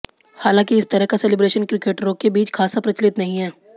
हालांकि इस तरह का सेलीब्रेशन क्रिकेटरों के बीच खासा प्रचलित नहीं है